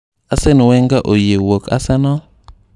Arsene Wenger oyie wuok Arsenal?